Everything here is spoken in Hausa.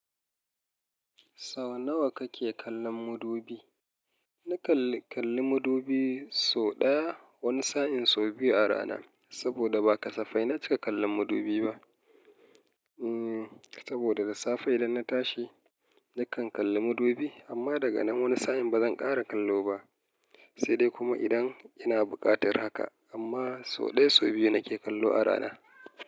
Sau nawa kake kallon mudubi? Na kalli, kalli mudubi sau ɗaya wani sa'in sau biyu a rana. Saboda ba kasafai na cika kallon mudubi ba. Hmm, saboda da safe idan na tashi nakan kalli mudubi amma daga nan wani sa'in bazan ƙara kallo ba. Sai dai kuma idan ina buƙatar haka amma sau ɗaya sau biyu nake kallo a rana.